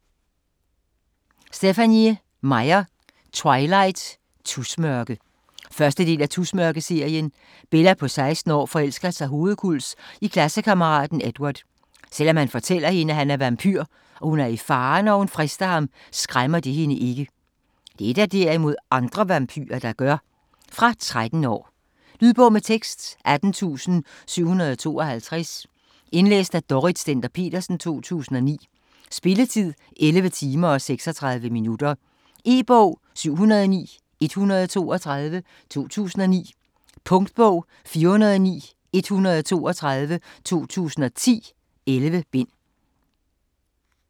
Meyer, Stephenie: Twilight - tusmørke 1. del af Tusmørke-serien. Bella på 16 år forelsker sig hovedkuls i klassekammeraten Edward. Selvom han fortæller hende, at han er vampyr, og hun er i fare, når hun frister ham, skræmmer det hende ikke. Det er der derimod andre vampyrer, der gør. Fra 13 år. Lydbog med tekst 18752 Indlæst af Dorrit Stender-Petersen, 2009. Spilletid: 11 timer, 36 minutter. E-bog 709132 2009. Punktbog 409132 2010. 11 bind.